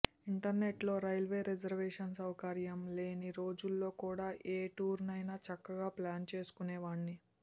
ఇంటర్నెట్లో railway reservation సౌకర్యం లేని రోజుల్లో కూడా ఏ టూరైనా చక్కగా ప్లాన్ చేసుకునేవాణ్ని